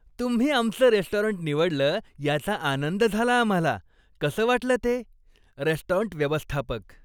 तुम्ही आमचं रेस्टॉरंट निवडलं याचा आनंद झाला आम्हाला. कसं वाटलं ते? रेस्टॉरंट व्यवस्थापक